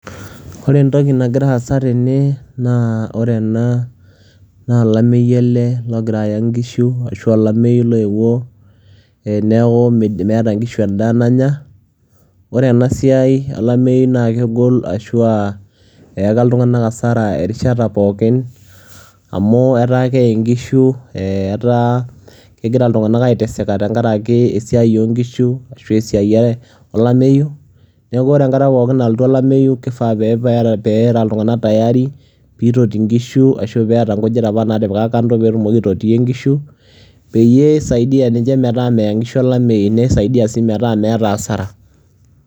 ore entoki nagira aasa tene, naa ore ena na olameyu ele logira aya nkishu ashu olameyu loyewuo, neeku meeta nkishu edaa nanya. ore ena siai olameyu naa kegol, ashu a eyaka ltunganak asara erishata pookin amu, etaa keye nkishu amuetaa, kegira iltunganak aiteseka tenaraki esiai oo nkishu ashu eisiai olameyu. neeuku ore enkata pookin nalotu olameyu kifaa pee era iltunganka tayari pee itoti nkishu ashu pee eeta nkujit aap naatipika kando pee etumoki aitotiyie nkishu pee eisaidia ninche metaa meya nkishu olameyu nisaidia, sii metaa meeta asara.